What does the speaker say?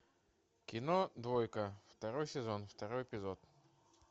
кино двойка второй сезон второй эпизод